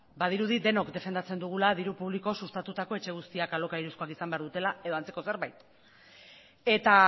badirudi denok defendatzen dugula diru publikoz sustatutako etxe guztiak alokairuzkoak izan behar dutela edo antzeko zerbait eta